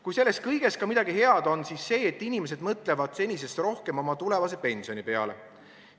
Kui selles kõiges ka midagi head on, siis see, et inimesed mõtlevad senisest rohkem oma tulevase pensioni peale.